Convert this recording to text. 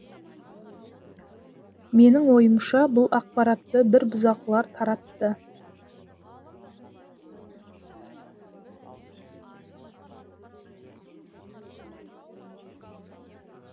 менің ойымша бұл ақпаратты бір бұзақылар таратты